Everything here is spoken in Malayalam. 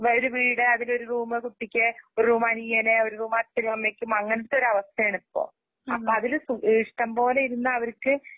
വര് വീട് അതിലൊരുറൂമ് കുട്ടിക്ക്. ഒരുറൂമ് അനിയന്, ഒരുറൂമ് അച്ചനുഅമ്മക്കും അങ്ങനൊത്തരവസ്ഥയാണിപ്പം അപ്പഅതില് സുഭീഷ്ടംപോലെയിരുന്നയവർക്ക്